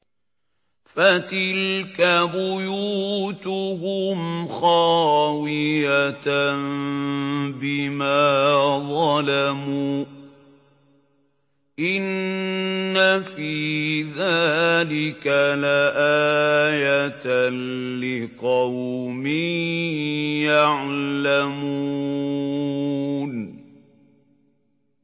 فَتِلْكَ بُيُوتُهُمْ خَاوِيَةً بِمَا ظَلَمُوا ۗ إِنَّ فِي ذَٰلِكَ لَآيَةً لِّقَوْمٍ يَعْلَمُونَ